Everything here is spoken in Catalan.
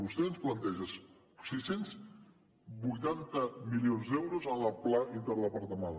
vostè ens planteja sis cents i vuitanta milions d’euros en el pla interdepartamental